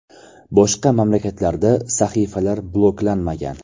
Boshqa mamlakatlarda sahifalar bloklanmagan.